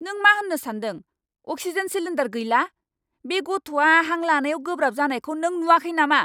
नों मा होन्नो सानदों? अक्सिजेन सिलिन्डार गैला! बे गथ'आ हां लानायाव गोब्राब जानायखौ नों नुवाखै नामा?